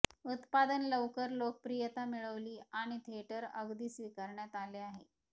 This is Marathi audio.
उत्पादन लवकर लोकप्रियता मिळवली आणि थिएटर अगदी स्वीकारण्यात आले आहे